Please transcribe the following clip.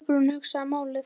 Kolbrún hugsaði málið.